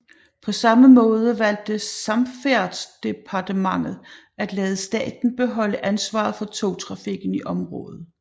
På samme måde valgte Samferdselsdepartementet at lade staten beholde ansvaret for togtrafikken i området